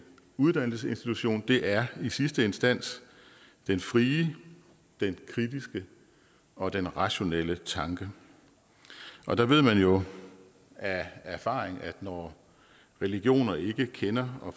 uddannelsesinstitution er i sidste instans den frie den kritiske og den rationelle tanke og der ved man jo af erfaring at når religioner ikke kender og